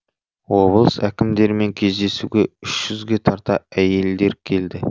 облыс әкімдерімен кездесуге үш жүзге тарта әйелдер келді